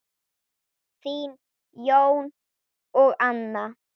Þín, Jón og Anna.